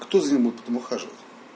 кто за ним будет потом ухаживать